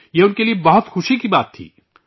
یہ ان کے لئے بہت خوشی کی بات تھی